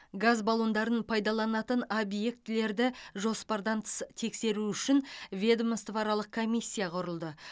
газ баллондарын пайдаланатын объектілерді жоспардан тыс тексеру үшін ведомствоаралық комиссия құрылды